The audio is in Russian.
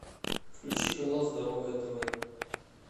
включи канал здоровое тв